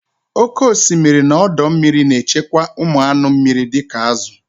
Oke osimiri na ọdọ mmiri na-echekwa ụmụ anụ mmiri dị ka azụ